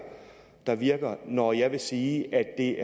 der virker når jeg vil sige